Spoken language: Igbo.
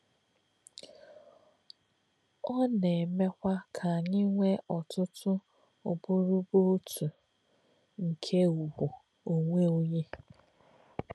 Ọ́ nā̄-èmè̄kwà̄ kā̄ ànyí̄ nwè̄ ọ̀tụ̀tụ̀ ọ̀bụ̀rù̀bụ̀ ọ̀tụ̀ nké̄ ùgwù̄ ọ̀nwé̄ ọ̀nyé̄.